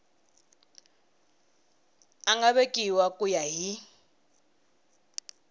nga vekiwa ku ya hi